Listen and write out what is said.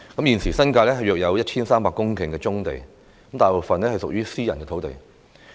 現時新界大約有 1,300 公頃棕地，大部分屬於私人土地。